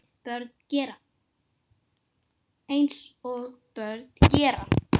Eins og börn gera.